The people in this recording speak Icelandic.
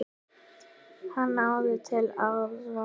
Hann náði til allra.